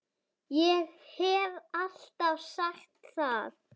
Ég hef alltaf sagt það.